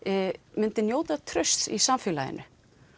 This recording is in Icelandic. myndi njóta trausts í samfélaginu